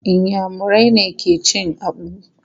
Inyamurai ne ke cin Akpu.